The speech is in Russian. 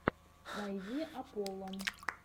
найди апполо